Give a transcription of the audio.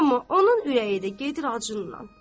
Amma onun ürəyi də gedirdi acından.